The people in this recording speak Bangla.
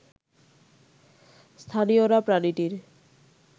স্থানীয়রা প্রাণীটির